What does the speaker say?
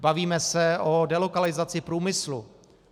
Bavíme se o delokalizaci průmyslu.